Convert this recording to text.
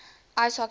ice hockey federation